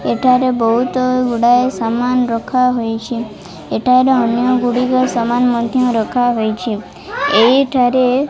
ଏଠାରେ ବହୁତ ଗୁଡାଏ ସାମାନ ରଖାହୋଇଛି ଏଠାରେ ଅନ୍ୟ ଗୁଡିକ ସାମାନ ମଧ୍ଯ ରଖାହୋଇଛି ଏଇଠାରେ।